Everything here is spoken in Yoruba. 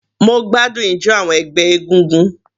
Mo gbádùn ijo àwọn ẹgbẹ́ egúngún.